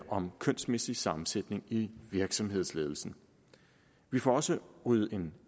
om kønsmæssig sammensætning i virksomhedsledelser vi får også ryddet en